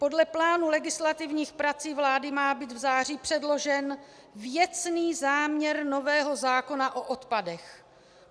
Podle plánu legislativních prací vlády má být v září předložen věcný záměr nového zákona o odpadech.